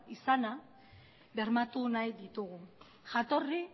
izana bermatu nahi ditugu jatorri